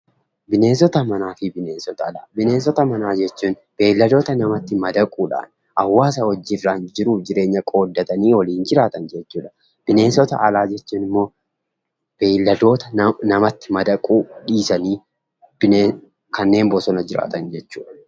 Bineensota manaa fi bineensota Alaa, bineensota manaa jechuun beeladoota namatti madaquudhaan hawaasa wajjirraan jiruufi jireenya qoodatanii waliin jiraatan jechuudha. Bineensota Alaa jechuun immoo beeladoota namatti madaquu dhiisanii kanneen bosona jiraatan jechuudha.